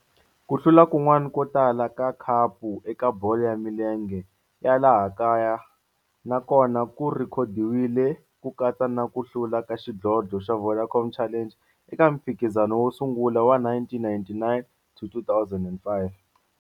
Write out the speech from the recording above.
Ku hlula kun'wana ko tala ka khapu eka bolo ya milenge ya laha kaya na kona ku rhekhodiwile, ku katsa na ku hlula ka xidlodlo xa Vodacom Challenge eka mphikizano wo sungula wa 1999 to 2005.